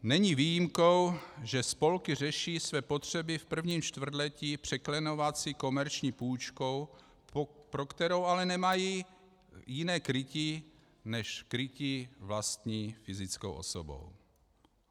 Není výjimkou, že spolky řeší své potřeby v prvním čtvrtletí překlenovací komerční půjčkou, pro kterou ale nemají jiné krytí než krytí vlastní fyzickou osobou.